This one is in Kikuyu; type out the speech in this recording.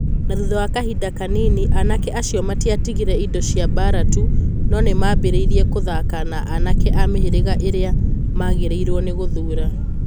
Na thutha wa kahinda kanini, anake acio matiatigire indo cia mbaara tu, no nĩ maambĩrĩirie kũthaka na anake a mĩhĩrĩga ĩrĩa maagĩrĩirũo nĩ gũthũũra.